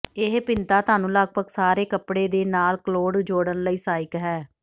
ਇਹ ਭਿੰਨਤਾ ਤੁਹਾਨੂੰ ਲਗਭਗ ਸਾਰੇ ਕੱਪੜੇ ਦੇ ਨਾਲ ਕਲੌਡ ਜੋੜਨ ਲਈ ਸਹਾਇਕ ਹੈ